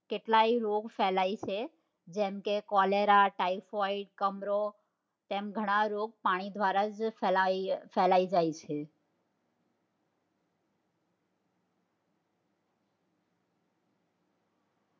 કેટલાય રોગ ફેલાય છે જેમ કે cholera, typhoid, કમળો તેમ ઘણા રોગ પાણી દ્વારા જ ફેલાઈ જાય છે